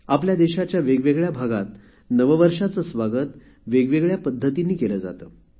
आपल्या देशाच्या वेगवेगळ्या भागात नववर्षाचे स्वागत वेगवेगळ्या पद्धतीने केले जाते